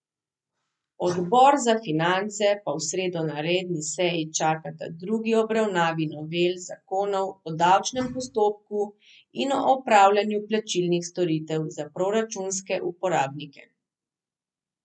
Odbor za finance pa v sredo na redni seji čakata drugi obravnavi novel zakonov o davčnem postopku in o opravljanju plačilnih storitev za proračunske uporabnike.